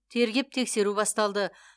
тергеп тексеру басталды